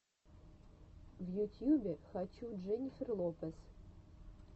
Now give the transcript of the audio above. в ютьюбе хочу дженнифер лопез